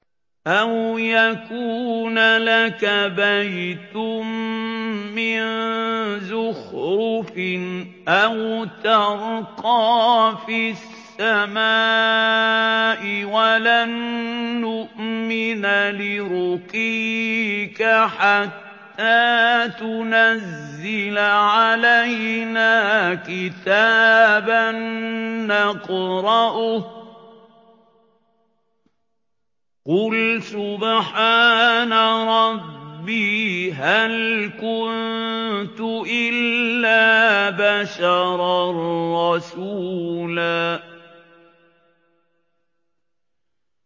أَوْ يَكُونَ لَكَ بَيْتٌ مِّن زُخْرُفٍ أَوْ تَرْقَىٰ فِي السَّمَاءِ وَلَن نُّؤْمِنَ لِرُقِيِّكَ حَتَّىٰ تُنَزِّلَ عَلَيْنَا كِتَابًا نَّقْرَؤُهُ ۗ قُلْ سُبْحَانَ رَبِّي هَلْ كُنتُ إِلَّا بَشَرًا رَّسُولًا